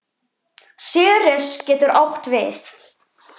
Ceres getur átt við